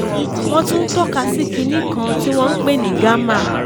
wọ́n tún tọ́ka sí kinní kan tí wọ́n pè ní gamma